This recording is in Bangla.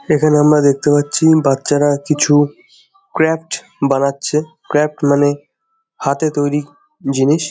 এখানে আমরা দেখতে পাচ্ছি বাচ্চারা কিছু ক্র্যাফট বানাচ্ছে। ক্র্যাফট মানে হাতে তৈরী জিনিস।